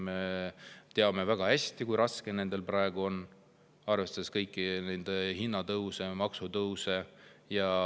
Me teame väga hästi, kui raske neil praegu on, arvestades kõiki hinnatõuse ja maksutõuse.